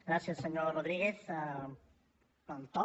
gràcies senyor rodríguez pel to